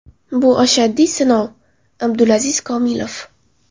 Bu ashaddiy sinov” Abdulaziz Komilov.